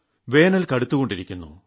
വേനൽ കടുത്തുകൊണ്ടിരിക്കുന്നു